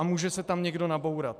A může se tam někdo nabourat.